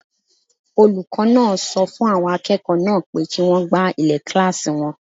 Olùkọ́ náà sọ fún àwọn akẹ́kọ̀ọ́ náà pé kí wọ́n gbá ilẹ̀ kílásì wọn